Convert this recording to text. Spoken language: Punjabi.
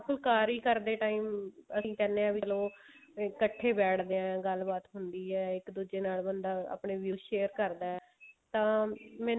ਫੁਕਾਰੀ ਕਰਦੇ time ਅਸੀਂ ਕਹਿੰਦੇ ਹਾਂ ਵੀ ਚਲੋ ਕੱਠੇ ਬੈਠਦੇ ਹਾਂ ਗੱਲਬਾਤ ਹੁੰਦੀ ਹੈ ਇੱਕ ਦੂਜੇ ਨਾਲ ਬੰਦਾ ਆਪਣੇ views share ਕਰਦਾ ਤਾਂ